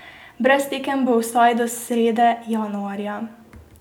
Brez tekem bo vsaj do srede januarja.